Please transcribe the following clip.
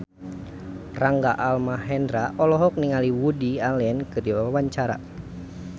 Rangga Almahendra olohok ningali Woody Allen keur diwawancara